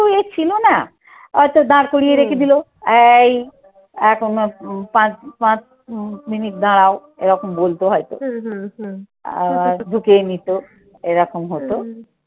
ইয়ে ছিল না। হয়তো দাঁড় করিয়ে রেখে দিল। এই এখন পাঁচ পাঁচ উম মিনিট দাঁড়াও এরকম বলতো হয়তো। আর ঢুকেই নিত এরকম হতো।